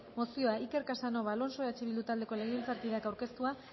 mozioa iker casanova alonso eh bildu taldeko legebiltzarkideak aurkeztua